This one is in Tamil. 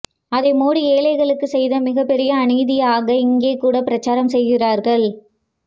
அதை மோடி ஏழைகளுக்குச் செய்த மிகப்பெரிய அநீதியாக இங்கேகூட பிரச்சாரம் செய்கிறார்கள்